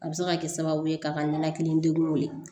A bɛ se ka kɛ sababu ye ka ninakili degunw ye